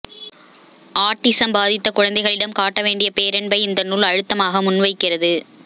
autism பாதித்த குழந்தைகளிடம் காட்ட வேண்டிய பேரன்பை இந்த நூல் அழுத்தமாக முன்வைக்கிறது